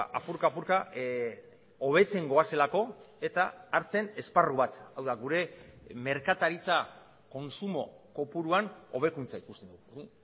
apurka apurka hobetzen goazelako eta hartzen esparru bat hau da gure merkataritza kontsumo kopuruan hobekuntza ikusten dugu